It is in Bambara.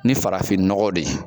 Ni farafin nɔgɔ de ye